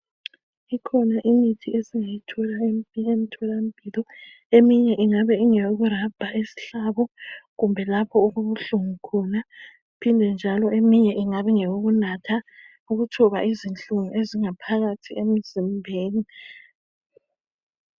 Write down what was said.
Ikhona imithi eminye ingabe ingeyokurabha isihlabo kumbe lapho okubuhlungu khona kuphinde njalo eminye ingabe ingeyokunatha ukuthoba izinhlungu ezingaphakathi emzimbeni.